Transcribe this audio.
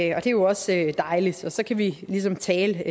er jo også dejligt og så kan vi ligesom tale